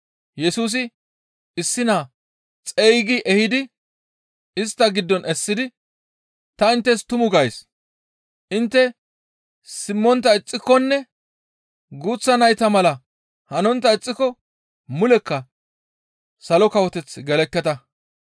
Yesusi issi naa xeygi ehidi istta giddon essidi, «Ta inttes tumu gays; intte simmontta ixxikonne guuththa nayta mala hanontta ixxiko mulekka Salo Kawoteth gelekketa.